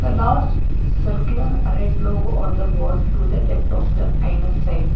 Large circular red logo on the wall to the left of the eyeness side.